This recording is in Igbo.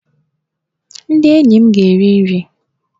Ndị enyi m ga-eri nri!